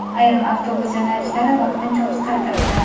ayrim avtobus yo‘nalishlari vaqtincha o‘zgartirildi.